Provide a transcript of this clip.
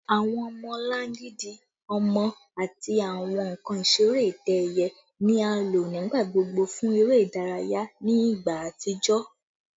Awọn ọmọlangidi ọmọ ati awọn nkan isere itẹ-ẹiyẹ ni a lo nigbagbogbo fun ere idaraya ni igba atijọ